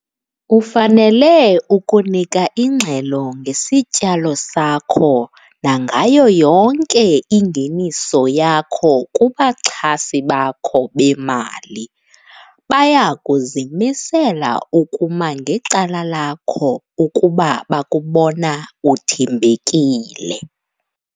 Ufanele ukunika ingxelo ngesityalo sakho nangayo yonke ingeniso yakho kubaxhasi bakho bemali - baya kuzimisela ukuma ngecala lakho ukuba bakubona uthembekile.